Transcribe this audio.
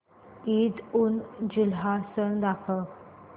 ईदउलजुहा सण दाखव